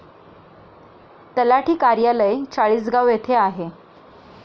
तलाठी कार्यालय चाळीसगाव येथे आहे.